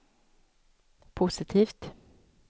positivt